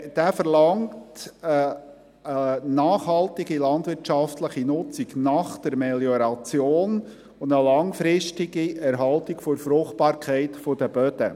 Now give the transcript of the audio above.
Dieser verlangt eine nachhaltige landwirtschaftliche Nutzung nach der Melioration und eine langfristige Erhaltung der Fruchtbarkeit der Böden.